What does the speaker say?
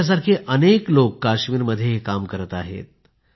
त्यांच्यासारखे अनेक लोक काश्मीरमध्ये हे काम करत आहेत